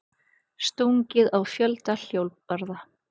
Stungið á fjölda hjólbarða